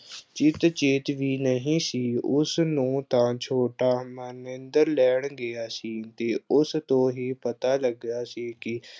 ਚਿੱਤ-ਚੇਤ ਵੀ ਨਹੀਂ ਸੀ, ਉਸ ਨੂੰ ਤਾਂ ਛੋਟਾ ਮਹਿੰਦਰ ਲੈਣ ਗਿਆ ਸੀ ਤੇ ਉਸ ਤੋਂ ਹੀ ਪਤਾ ਲੱਗਿਆ ਸੀ ਕਿ